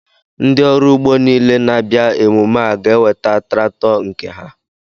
Ndị ọrụ ugbo niile na-abịa emume a ga-eweta traktọ nke ha?